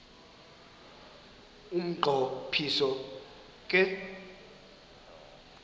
umnqo phiso ke